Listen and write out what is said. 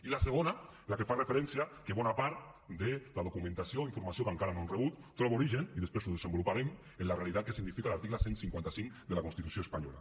i la segona la que fa referència que bona part de la documentació i informació que encara no hem rebut troba origen i després ho desenvoluparem en la realitat que significa l’article cent i cinquanta cinc de la constitució espanyola